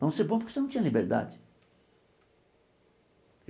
Não ser bom porque você não tinha liberdade.